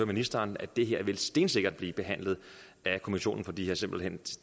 ministeren at det her stensikkert vil blive behandlet af kommissionen for de har simpelt hen